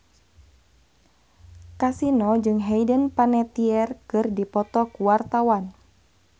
Kasino jeung Hayden Panettiere keur dipoto ku wartawan